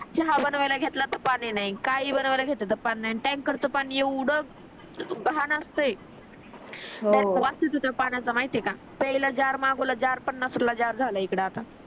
चहा बनवायला घेतलं तर पाणी नाही काही हि बनवायला घेतल तर पाणी नाही आणि टँकर चा पाणी एवढा घान असते त्यात वास येतो त्या पाण्याचा माहिती आहे का इकडे आता